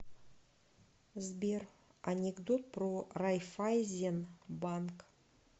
сбер анекдот про райффайзенбанк